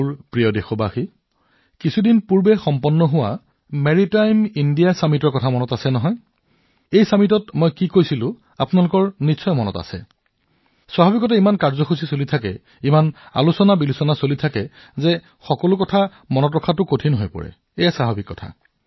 মোৰ মৰমৰ দেশবাসীসকল কিছু সময় আগতে অনুষ্ঠিত হোৱা সামুদ্ৰিক ভাৰত সন্মিলনৰ কথা আপোনাৰ মনত আছেনে এই সন্মিলনত মই কি কৈছিলো আপোনালোকৰ মনত আছে নে স্বাভাৱিকতে বহুতো কাৰ্যসূচী অনুষ্ঠিত হয় বহুতো ঘটনা ঘটে সকলো কথা মনত নাথাকে আৰু সিমান গুৰুত্ব দিয়া নহয় এয়া স্বাভাৱিক